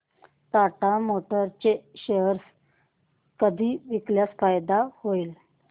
Tata Motors चे share कधी विकल्यास फायदा होईल